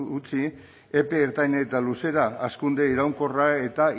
utzi epe ertain eta luzera hazkunde iraunkorra eta